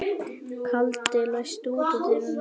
Kaldi, læstu útidyrunum.